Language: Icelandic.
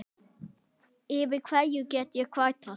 Yfir hverju get ég kvartað?